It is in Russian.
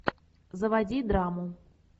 заводи драму